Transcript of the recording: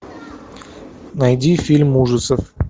найди фильм ужасов